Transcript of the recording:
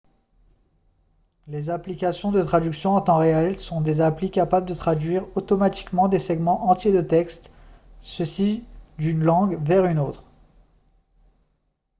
les applications de traduction en temps réel sont des applis capable de traduire automatiquement des segments entiers de texte ceci d'une langue vers une autre